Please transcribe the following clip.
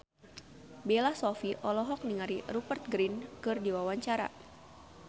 Bella Shofie olohok ningali Rupert Grin keur diwawancara